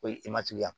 O ye